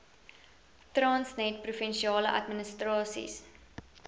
transnet provinsiale administrasies